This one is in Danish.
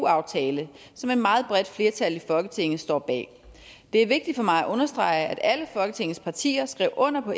aftale som et meget bredt flertal i folketinget står bag det er vigtigt for mig at understrege at alle folketingets partier skrev under på